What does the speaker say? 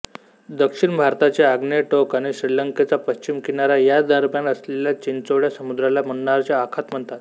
दक्षिण भारताचे आग्नेय टोक आणि श्रीलंकेचा पश्चिम किनारा यांदरम्यान असलेल्या चिंचोळ्या समुद्राला मन्नारचे आखात म्हणतात